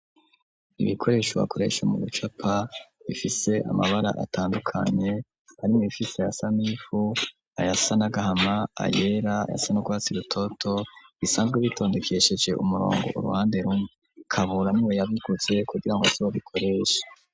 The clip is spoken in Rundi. Ibikoresho bakoresha mu gucapa bifise amabara atandukanye arimwo ibifise ayasa n'ivu, ayasa n'agahama, ayera ,ayasa n'urwatsi rutoto bisanzwe bitondekesheje umurongo uruhande rumwe Kabura niwe yabiguze kugirango asibe abikoresha.